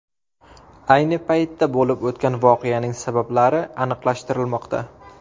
Ayni paytda bo‘lib o‘tgan voqeaning sabablari aniqlashtirilmoqda.